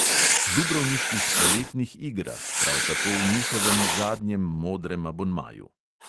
Dubrovniških poletnih igrah, prav tako v njihovem zadnjem modrem abonmaju.